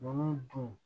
Nunnu dun